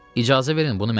İcazə verin bunu mən eləyim.